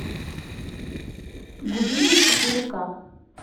гудини четыре ка